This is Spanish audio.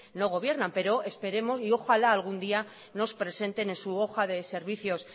no gobiernan pero esperemos y ojala algún día nos presenten en su hoja de servicios